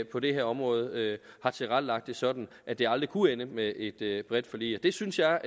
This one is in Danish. på det her område har tilrettelagt det sådan at det aldrig kunne ende med et et bredt forlig det synes jeg